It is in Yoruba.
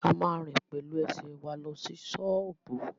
A ma rìn pẹ̀lú ẹsẹ̀ wa lọ sí ṣọ́ọ̀bú